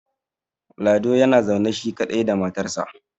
lado yana zaune shi kaɗai da matarsa